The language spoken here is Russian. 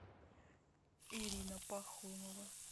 ирина пахомова